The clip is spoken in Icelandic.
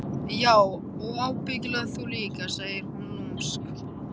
Já og ábyggilega þú líka, segir hún lúmsk.